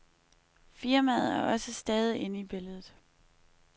Firmaet er også stadig inde i billedet.